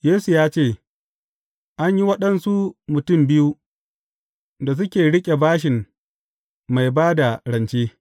Yesu ya ce, An yi waɗansu mutum biyu da suke riƙe bashin mai ba da rance.